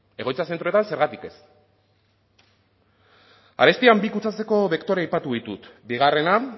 egoitza zentroetan zergatik ez arestian bi kutsatzeko bektore aipatu ditut bigarrena